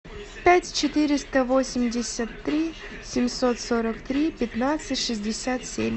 пять четыреста восемьдесят три семьсот сорок три пятнадцать шестьдесят семь